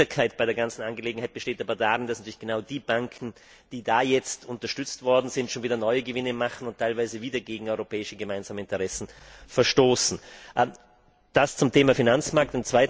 Die große Bitterkeit bei der ganzen Angelegenheit besteht aber darin, dass genau die Banken, die da jetzt unterstützt worden sind, schon wieder neue Gewinne machen und teilweise wieder gegen gemeinsame europäische Interessen verstoßen. Das zum Thema Finanzmarkt.